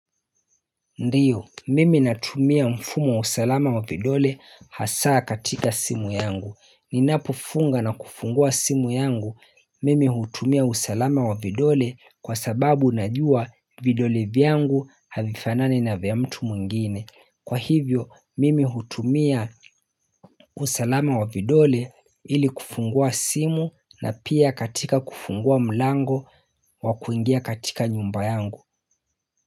Ndiyo mimi natumia mfumo wa usalama wa vidole hasaa katika simu yangu. Ninapofunga na kufungua simu yangu mimi hutumia usalama wa vidole kwa sababu najua vidole vyangu havifanani na vya mtu mwingine. Kwa hivyo mimi hutumia usalama wa vidole ili kufungua simu na pia katika kufungua mlango wakuingia katika nyumba yangu.